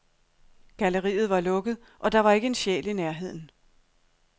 Galleriet var lukket, og der var ikke en sjæl i nærheden.